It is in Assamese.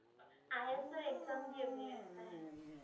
IS ৰ exam দিয়ে বুলে তাই।